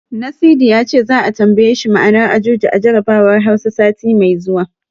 Nasidi ya ce, za'a tambaye shi ma'anar Ajuji a jarabawar Hausa, sati mai zuwa.